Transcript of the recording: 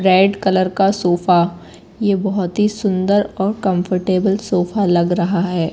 Red colour का sofa ये बहोत हि सुंदर और कंफर्टेबल सोफा लग रहा है।